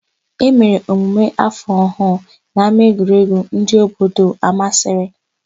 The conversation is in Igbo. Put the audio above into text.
E mere emume áfọ̀ ọhụụ n'ámáegwuregwu ndị obodo Amasịrị.